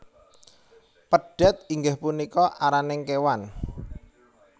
Pedhet inggih punika araning kewan